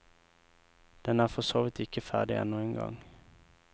Den er forsåvidt ikke ferdig ennå engang.